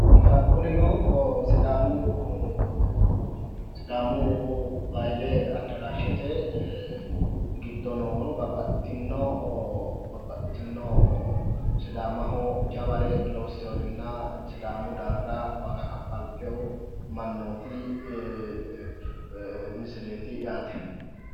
Kunino sidaamu baahil addaraashete giddo noo babbaxitino sidaamaho jaware loosseewoorinna sidaamu daafira waaga kaffalteewo mannooti misileeti yaate